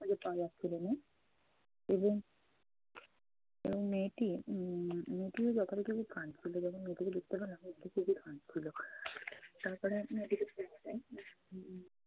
তবে তা রাখছিলো না এবং এবং মেয়েটি উম মেয়েটিও যথারীতি খুব কাঁদছিলো। যখন মেয়েটিকে দেখতে পেলাম দেখি যে কাঁদছিলো তারপরে মেয়েটিকে